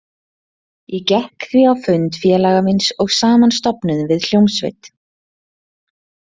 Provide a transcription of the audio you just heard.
Ég gekk því á fund félaga míns og saman stofnuðum við hljómsveit.